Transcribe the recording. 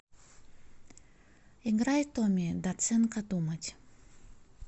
играй томми доценко думать